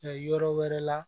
yɔrɔ wɛrɛ la